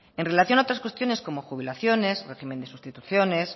en relación a otras cuestiones como jubilaciones régimen de sustituciones